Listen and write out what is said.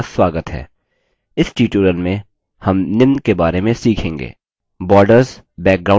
इस tutorial में हम निम्न के बारे में सीखेंगे